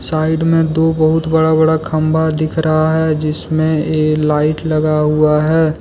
Side में दो बहुत बड़ा-बड़ा खंभा दिख रहा है जिसमें ये लाइट लगा हुआ है।